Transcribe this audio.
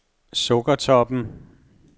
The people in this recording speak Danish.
Sukkertoppen